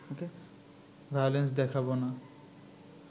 violence দেখাব না